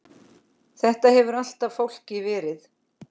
Þetta hefur alltaf fálki verið.